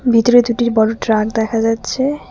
ভিতরে দুটির বড় ট্রাক দেখা যাচ্ছে।